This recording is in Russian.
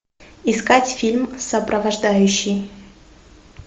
искать фильм сопровождающий